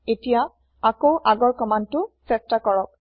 এতিয়া আকৌ আগৰ কমান্দটো চেষ্টা কৰক